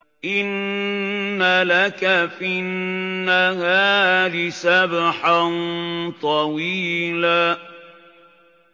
إِنَّ لَكَ فِي النَّهَارِ سَبْحًا طَوِيلًا